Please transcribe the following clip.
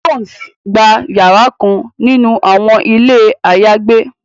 Jones gbà yàrà kàn nínú awọn ilé ayagbe